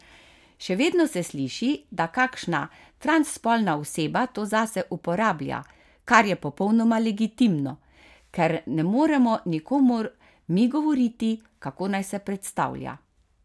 Še vedno se sliši, da kakšna transspolna oseba to zase uporablja, kar je popolnoma legitimno, ker ne moremo nikomur mi govoriti, kako naj se predstavlja.